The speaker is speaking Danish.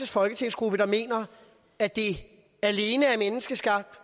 folketingsgruppe der mener at det alene er menneskeskabt